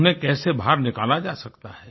उन्हें कैसे बाहर निकाला जा सकता है